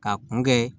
K'a kun kɛ